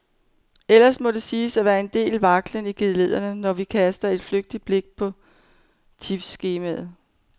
Ellers må der siges at være en del vaklen i geledderne, når vi kaster et flygtigt blik på tipsskemaet.